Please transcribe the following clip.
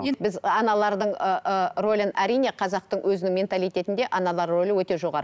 енді біз аналардың ыыы рөлін әрине қазақтың өзінің менталитетінде аналар рөлі өте жоғары